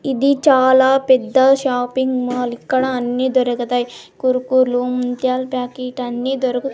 ఇది చాలా పెద్ద షాపింగ్ మాల్ ఇక్కడ అన్నీ దొరుకతాయి కురుకుర్లు ముంత్యాల్ ప్యాకెట్ అన్ని దొరుకు--